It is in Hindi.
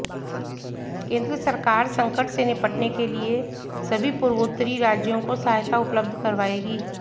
केंद्र सरकार संकट से निपटने के लिए सभी पूर्वोत्तरी राज्यों को सहायता उपलब्ध कराएगी